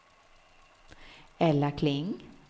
Ella Kling